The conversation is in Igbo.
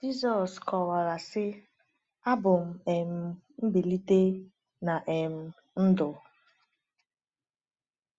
Jizọs kọwara sị: “Abụ m um mgbilite na um ndụ.